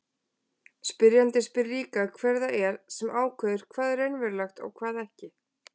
Spyrjandinn spyr líka hver það er sem ákveður hvað er raunverulegt og hvað ekki.